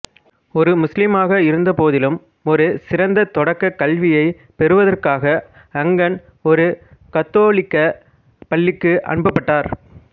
ஒரு முசுலீமாக இருந்தபோதிலும் ஒரு சிறந்த தொடக்கக் கல்வியைப் பெறுவதற்காக அங்கன் ஒரு கத்தோலிக்க பள்ளிக்கு அனுப்பப்பட்டார்